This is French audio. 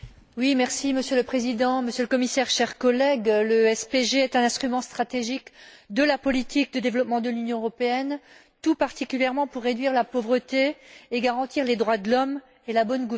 Monsieur le Président, Monsieur le Commissaire, chers collègues, le SPG est un instrument stratégique de la politique de développement de l'Union européenne, tout particulièrement pour réduire la pauvreté et garantir les droits de l'homme et la bonne gouvernance.